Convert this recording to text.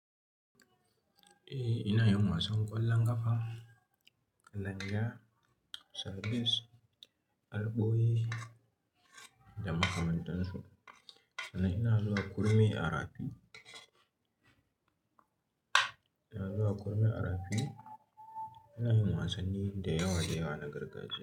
Eh, ina yin wasan ƙwallon ƙafa, kalanja, sables, alboyi da makamantansu. Sannan ina zuwa kurmi a rafi, ina zuwa kurmi a rafi. Ina yin wasanni da yawa da yawa na gargajiya.